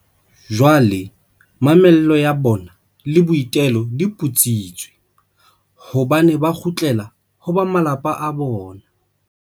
Jwale mamello ya bona le boitelo di putsitswe, hobane ba kgutlela ho ba malapa a bona.